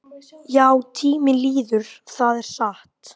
Já, tíminn líður, það er satt.